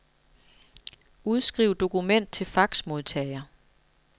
Udskriv dokument til faxmodtager.